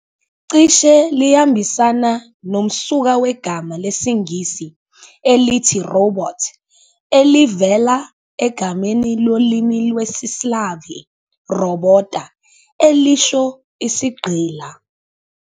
Cishe liyambisana nomsuka wegama lesiNgisi elithi "robot" elivela egameni lolimi lwesi-Slavi "robota", elisho isigqila.